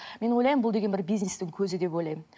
мен ойлаймын бұл деген бизнестің көзі деп ойлаймын